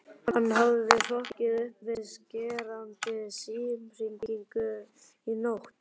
Hann hafði hrokkið upp við skerandi símhringingu nótt